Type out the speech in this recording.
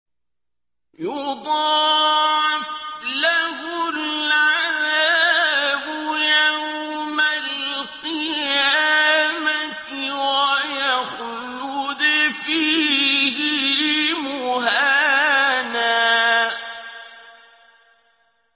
يُضَاعَفْ لَهُ الْعَذَابُ يَوْمَ الْقِيَامَةِ وَيَخْلُدْ فِيهِ مُهَانًا